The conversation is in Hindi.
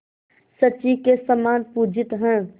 शची के समान पूजित हैं